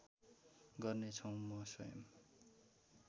गर्नेछौ म स्वयम्